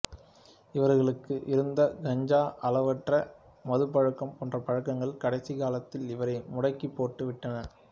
இவரக்கு இருந்த கஞ்சா அளவற்ற மதுப்பழக்கம் போன்ற பழக்கங்கள் கடைசி காலத்தில் இவரை முடக்கிப் போட்டு விட்டன